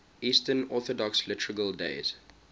eastern orthodox liturgical days